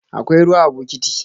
Akwai ruwa a bokiti.